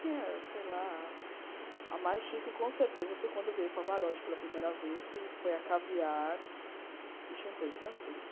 Tinha, sei lá, a mais chique, com certeza, foi quando veio o Pavarotti pela primeira vez, que foi a caviar e champanhe francês.